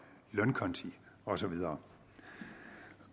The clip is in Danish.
lønkonti og så videre